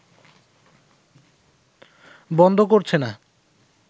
বন্ধ করছে না